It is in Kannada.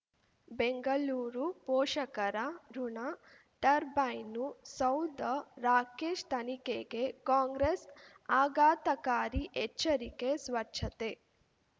ಬೆಂಗಳೂರು ಪೋಷಕರಋಣ ಟರ್ಬೈನು ಸೌಧ ರಾಕೇಶ್ ತನಿಖೆಗೆ ಕಾಂಗ್ರೆಸ್ ಆಘಾತಕಾರಿ ಎಚ್ಚರಿಕೆ ಸ್ವಚ್ಛತೆ